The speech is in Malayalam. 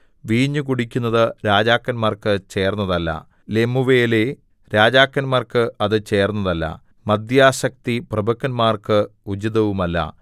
വീഞ്ഞ് കുടിക്കുന്നത് രാജാക്കന്മാർക്ക് ചേർന്നതല്ല ലെമൂവേലേ രാജാക്കന്മാർക്ക് അത് ചേർന്നതല്ല മദ്യാസക്തി പ്രഭുക്കന്മാർക്ക് ഉചിതവുമല്ല